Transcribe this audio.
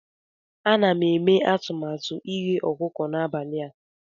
Ana m eme atụmatụ ighe ọkụkọ n'abalị a.